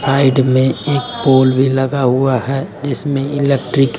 side में एक pole भी लगा हुआ है जीसमें इलेक्ट्रिक --